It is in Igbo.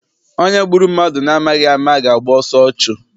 Onye gburu mmadụ na amaghị ama ga- agba ọsọ ọchụ.